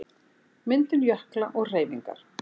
Myndun jökla og hreyfingar